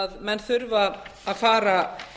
að menn þurfa að fara